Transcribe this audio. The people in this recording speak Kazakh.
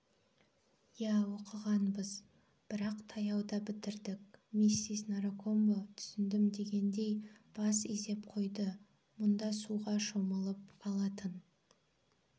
иә оқығанбыз бірақ таяуда бітірдік миссис наракомбо түсіндім дегендей бас изеп қойды мұнда суға шомылып алатын